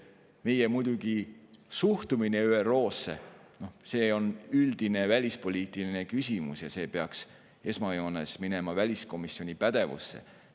Meie suhtumine ÜRO-sse on muidugi üldine välispoliitiline küsimus ja see peaks minema esmajoones väliskomisjoni pädevusse.